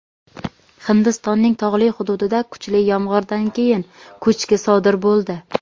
Hindistonning tog‘li hududida kuchli yomg‘irdan keyin ko‘chki sodir bo‘ldi.